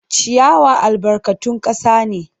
Ciyawa albarkatun kasa ne.